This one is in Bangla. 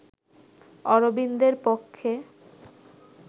অরবিন্দের পক্ষে